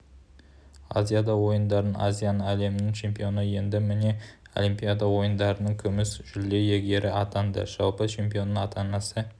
азияда ойындарының азияның әлемнің чемпионы енді міне олимпиада ойындарының күміс жүлде иегері атанды жалпы чемпионның ата-анасы